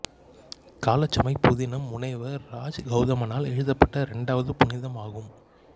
காலச் சுமை புதினம் முனைவர் ராஜ் கௌதமனால் எழுதப்பட்ட இரண்டாவது புதினமாகும்